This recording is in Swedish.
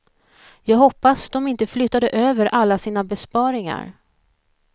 Jag hoppas de inte flyttade över alla sina besparingar.